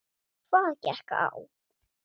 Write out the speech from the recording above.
Hvað gekk á?